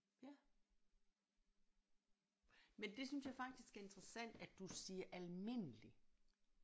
Ja men det synes jeg faktisk er interessant at du siger almindelig